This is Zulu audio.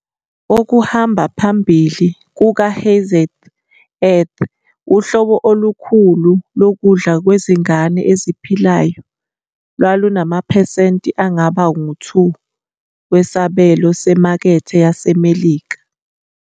Okuhamba phambili kukaHeinz's Earth, uhlobo olukhulu lokudla kwezingane eziphilayo, lwalunamaphesenti angaba ngu-2 wesabelo semakethe yaseMelika.